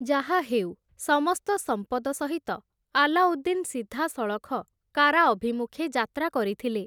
ଯାହାହେଉ, ସମସ୍ତ ସମ୍ପଦ ସହିତ ଆଲାଉଦ୍ଦିନ୍ ସିଧାସଳଖ କାରା ଅଭିମୁଖେ ଯାତ୍ରା କରିଥିଲେ ।